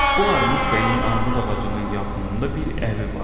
Bu Armud bəyin armud ağacının yaxınında bir evi vardı.